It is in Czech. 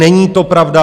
Není to pravda.